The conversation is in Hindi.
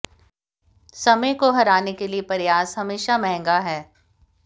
समय को हराने के लिए प्रयास हमेशा महंगा है